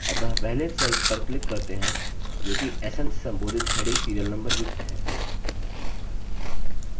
अतः पहले cell पर click करते हैं जो कि sn से संबोधित heading serial number युक्त है